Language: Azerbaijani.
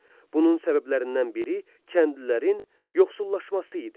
Bunun səbəblərindən biri kəndlilərin yoxsullaşması idi.